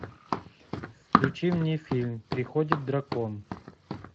включи мне фильм приходит дракон